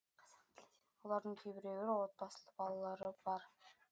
олардың кейбіреуі отбасылы балалары бар